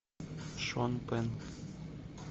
шон пенн